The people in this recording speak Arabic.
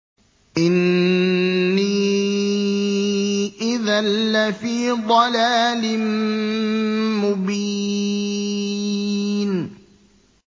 إِنِّي إِذًا لَّفِي ضَلَالٍ مُّبِينٍ